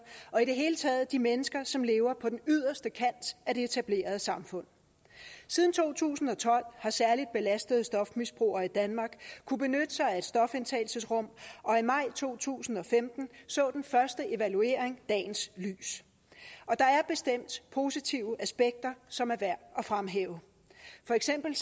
og i det hele taget de mennesker som lever på den yderste kant af det etablerede samfund siden to tusind og tolv har særlig belastede stofmisbrugere i danmark kunnet benytte sig af stofindtagelsesrum og i maj to tusind og femten så den første evaluering dagens lys og der er bestemt positive aspekter som er værd at fremhæve for eksempel